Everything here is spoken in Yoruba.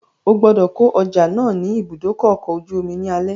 Ogbọ́dọ̀ kó ọjà náà ni ìbúdókọ̀ ọ̀kọ̀ ojú omi ní alẹ́